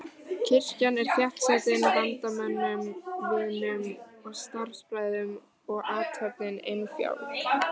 Kirkjan er þéttsetin vandamönnum, vinum og starfsbræðrum og athöfnin innfjálg.